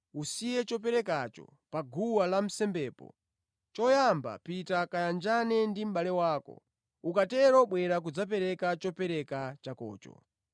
usiye choperekacho pa guwa lansembepo, choyamba pita kayanjane ndi mʼbale wako; ukatero bwera kudzapereka chopereka chakocho.